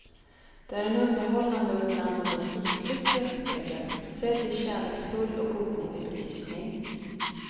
Det är en underhållande och ibland något ytlig skrattspegel, sedd i kärleksfull och godmodig belysning.